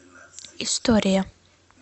история